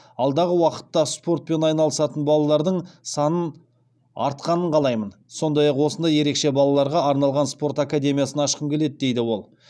алдағы уақытта спортпен айналысатын балалардың санын артқанын қалаймын сондай ақ осындай ерекше балаларға арналған спорт академиясын ашқым келеді дейді ол